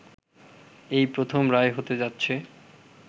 এই প্রথম রায় হতে যাচ্ছে